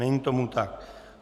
Není tomu tak.